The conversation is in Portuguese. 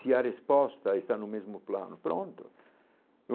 Se a resposta está no mesmo plano, pronto.